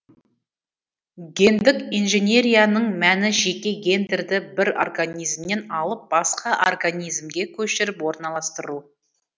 гендік инженерияның мәні жеке гендерді бір организмнен алып басқа организмге көшіріп орналастыру